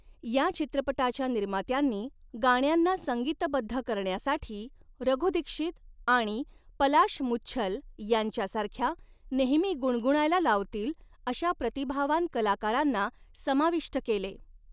या चित्रपटाच्या निर्मात्यांनी गाण्यांना संगीतबद्ध करण्यासाठी रघु दीक्षित आणि पलाश मुच्छल यांच्यासारख्या, नेहमी गुणगुणायला लावतील अशा प्रतिभावान कलाकारांना समाविष्ट केले.